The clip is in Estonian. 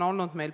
Palun!